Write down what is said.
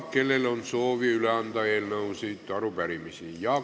Kellel on soovi üle anda eelnõusid või arupärimisi?